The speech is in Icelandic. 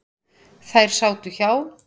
Þær sátu hjá.